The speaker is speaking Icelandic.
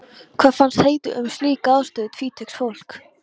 Hvað fannst Heiðu um slíka afstöðu tvítugs fólks?